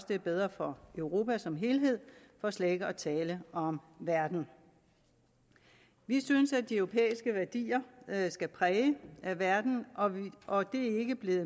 det er bedre for europa som helhed for slet ikke at tale om verden vi synes at de europæiske værdier skal præge verden og vi er ikke blevet